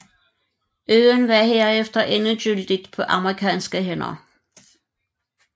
Øen var herefter endegyldigt på amerikanske hænder